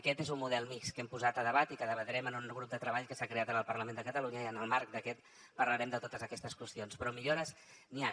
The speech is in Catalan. aquest és un model mixt que hem posat a debat i que debatrem en un grup de treball que s’ha creat en el parlament de catalunya i en el marc d’aquest parlarem de totes aquestes qüestions però millores n’hi han